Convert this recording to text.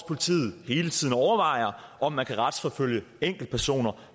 politiet hele tiden overvejer om man kan retsforfølge enkeltpersoner